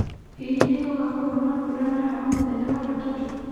Hihi nĩ gũgakorwo na mbura na heho mũthenya wa Gatatu